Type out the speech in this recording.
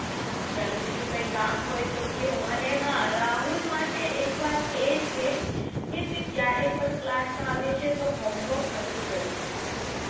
હા ચાલો બીજું કંઈ કામ હોય તો કયો અને હા રાહુલ માટે એક વાત એ છે કે તે ક્યારેય પણ class માં આવે છે તો homework નથી કરીને આવતો